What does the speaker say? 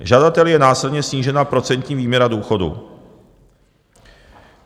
Žadateli je následně snížena procentní výměra důchodu.